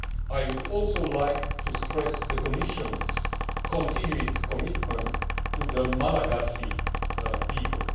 I would also like to stress the Commission's continued commitment to the Malagasy people.